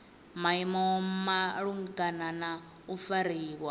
maimo malugana na u fariwa